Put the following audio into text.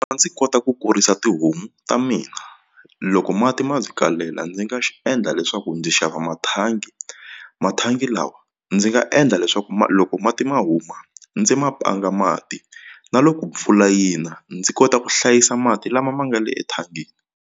A ndzi kota ku kurisa tihomu ta mina loko mati ma ndzi kalela ndzi nga xi endla leswaku ndzi xava mathangi mathangi lawa ndzi nga endla leswaku loko mati ma huma ndzi ma panga mati na loko mpfula yina ndzi kota ku hlayisa mati lama ma nga le ethangeni.